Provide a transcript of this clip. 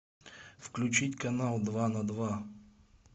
включить канал два на два